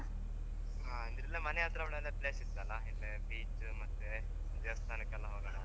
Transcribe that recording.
ಹಾ ಇಲ್ಲೇ ಮನೆಹತ್ರ ಒಳ್ಳೊಳ್ಳೆ place ಇರದಲ್ವ beach ದೇವಸ್ಥಾನಕ್ಕೆಲ್ಲ ಹೋಗೋಣ ಅಂತ.